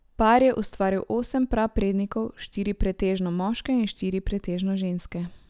Par je ustvaril osem praprednikov, štiri pretežno moške in štiri pretežno ženske.